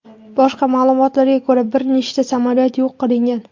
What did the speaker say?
Boshqa ma’lumotlarga ko‘ra bir nechta samolyot yo‘q qilingan.